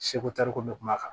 Seko tariku bɛ kuma kan